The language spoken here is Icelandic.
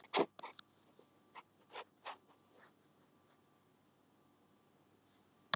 Þurfti ekki að hugsa sig um tvisvar, þetta var svo góð hugmynd.